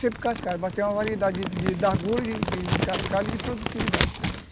Sempre cascalho, mas tem uma variedade de de, de cascalho e de produtividade também.